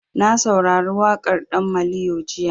Na saurari waƙar ɗan maliyo jiya.